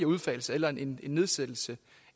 udfasning eller en nedsættelse